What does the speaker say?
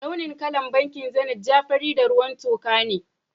Launin kalan bankin Zenith ja ,fari, da ruwan tuka ne.